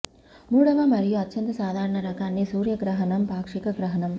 మూడవ మరియు అత్యంత సాధారణ రకాన్ని సూర్య గ్రహణం పాక్షిక గ్రహణం